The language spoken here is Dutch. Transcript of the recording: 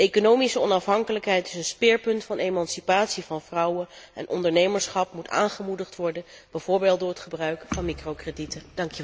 De economische onafhankelijkheid is een speerpunt van emancipatie van vrouwen en ondernemerschap moet aangemoedigd worden, bijvoorbeeld door het gebruik van microkredieten.